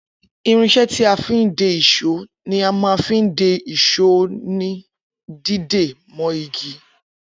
Irinsé tí a fin de ìsó ní a má fin de ìsó òní dídé mọ́ igi